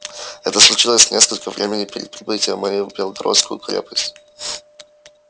это случилось несколько времени перед прибытием моим в белогорскую крепость